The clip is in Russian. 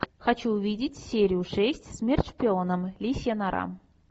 хочу увидеть серию шесть смерть шпионам лисья нора